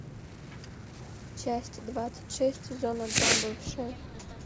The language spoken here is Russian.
часть двадцать шесть сезона два бывшие